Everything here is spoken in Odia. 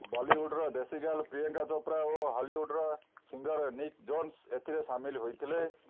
ବଲିଉଡ୍ର ଦେଶୀ ଗର୍ଲ ପ୍ରିୟଙ୍କା ଚୋପ୍ରା ଓ ହଲିଉଡର ସିଙ୍ଗର ନିକ୍ ଜୋନ୍ସ ଏଥିରେ ସାମିଲ ହୋଇଥିଲେ